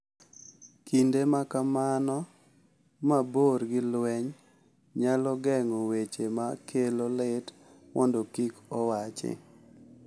Kinde ma kamano mabor gi lweny nyalo geng’o weche ma kelo lit mondo kik owachi .